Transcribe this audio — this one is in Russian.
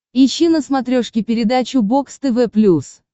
ищи на смотрешке передачу бокс тв плюс